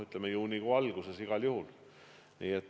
Juunikuu alguses igal juhul.